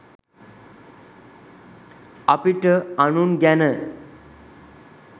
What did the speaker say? අපිට අනුන් ගැන